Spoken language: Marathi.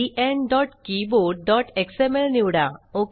enkeyboardxmlनिवडा